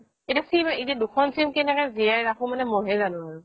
এতিয়া দুখন SIM কেনেকে জীয়াই ৰাখো মানে মইহে জানো আৰু